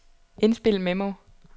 indspil memo